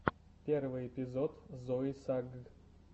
первый эпизод зои сагг